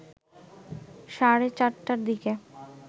সাড়ে ৪টার দিকে